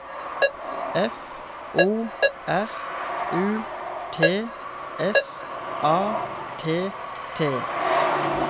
F O R U T S A T T